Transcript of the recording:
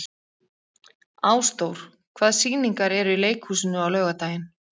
Ásdór, hvaða sýningar eru í leikhúsinu á laugardaginn?